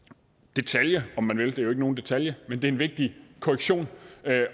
detalje om man vil det nogen detalje men det er en vigtig korrektion